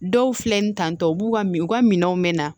Dɔw filɛ nin tan tɔ u b'u ka u ka minɛnw minɛ